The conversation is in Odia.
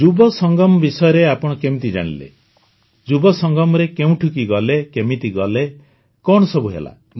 ଯୁବ ସଙ୍ଗମ ବିଷୟରେ ଆପଣ କେମିତି ଜାଣିଲେ ଯୁବ ସଙ୍ଗମରେ କେଉଁଠିକୁ ଗଲେ କେମିତି ଗଲେ କଣ ସବୁ ହେଲା